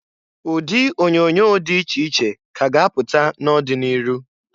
Ụdị onyoonyo dị iche iche ka a ga-apụta n'ọdị n'iru.